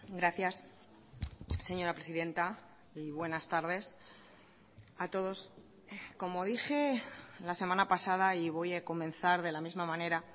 gracias señora presidenta y buenas tardes a todos como dije la semana pasada y voy a comenzar de la misma manera